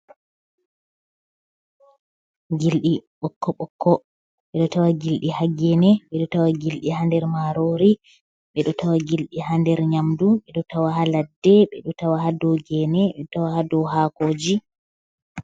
Gilɗi ɓokkoɓokko ɓoɗo tawa gildi ha gene ɓedo tawa gilɗi ha nder marori ɓedo tawa gilɗi ha nder nyamdu ɓedo tawa ha ladde be do tawa ha dow gene ɓeɗo tawa ha do hakoji.